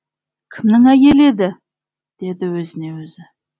кімнің әйелі еді деді өзіне өзі